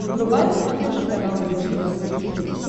врубай на смотрешке канал бридж тв русский хит